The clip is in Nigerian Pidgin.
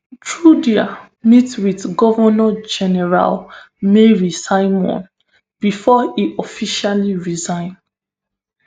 trudeau meet wit governor general mary simon bifor e officially resign